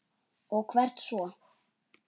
Og hvert svo?